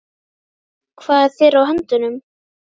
Hvað er þér á höndum?